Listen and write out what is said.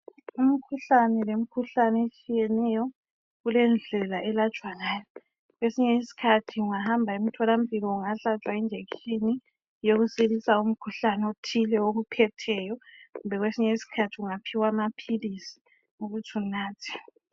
Umkhuhlane lemkhuhlane etshiyeneyo kulendlela elatshwa ngayo. Kwesinye isikhathi ungahamba emtholampilo ungahlatshwa injekishini yokusilisa umkhuhlane othile okuphetheyo kumbe kwesinye isikhathi ungaphiwa amaphilisi ukuthi unathe.